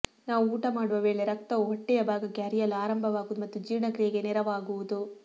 ನಾವು ಊಟ ಮಾಡುವ ವೇಳೆ ರಕ್ತವು ಹೊಟ್ಟೆಯ ಭಾಗಕ್ಕೆ ಹರಿಯಲು ಆರಂಭವಾಗುವುದು ಮತ್ತು ಜೀರ್ಣಕ್ರಿಯೆಗೆ ನೆರವಾಗುವುದು